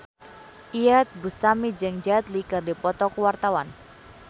Iyeth Bustami jeung Jet Li keur dipoto ku wartawan